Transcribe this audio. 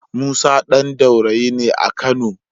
Musa ɗan Daurayi ne a Kano.